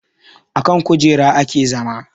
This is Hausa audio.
Akan kujera ake zama